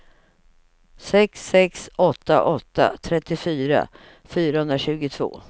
sex sex åtta åtta trettiofyra fyrahundratjugotvå